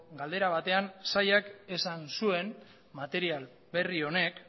galdera batean sailak esan zuen material berri honek